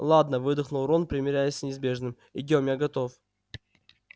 ладно выдохнул рон примирясь с неизбежным идём я готов